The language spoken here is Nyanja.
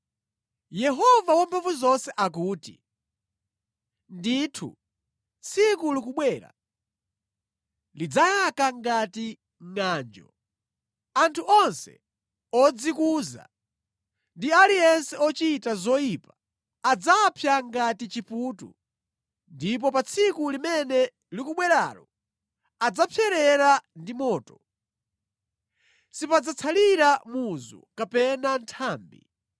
Yehova Wamphamvuzonse akuti, “Ndithu tsiku likubwera; lidzayaka ngati ngʼanjo. Anthu onse odzikuza, ndi aliyense ochita zoyipa adzapsa ngati chiputu, ndipo pa tsiku limene likubweralo adzapserera ndi moto. Sipadzatsalira muzu kapena nthambi.